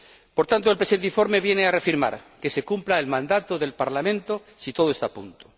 Por tanto, el presente informe viene a reafirmar que se cumpla el mandato del Parlamento si todo está a punto.